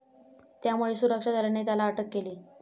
त्यामुळे सुरक्षा दलाने त्याला अटक केली.